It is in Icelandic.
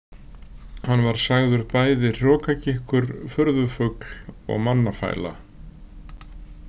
Hann var sagður bæði hrokagikkur, furðufugl og mannafæla.